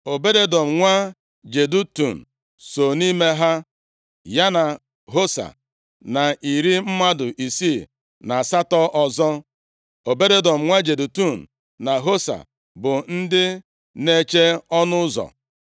Obed-Edọm nwa Jedutun so nʼime ha, ya na Hosa, na iri mmadụ isii na asatọ ọzọ. Obed-Edọm nwa Jedutun na Hosa bụ ndị na-eche ọnụ ụzọ.